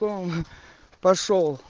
паша